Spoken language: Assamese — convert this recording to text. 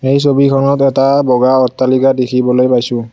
এই ছবিখনত এটা বগা অট্টালিকা দেখিবলৈ পাইছোঁ।